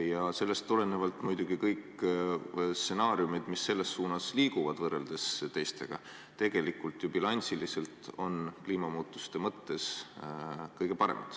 Ja sellest tulenevalt on kõik stsenaariumid, mis selles suunas liiguvad, kliimamuutuste mõttes bilansiliselt tegelikult kõige paremad.